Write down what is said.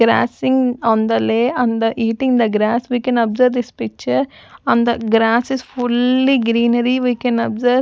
grasssing on the lay on the eating the grass we can observe this picture and the grass is fully greenery we can observe.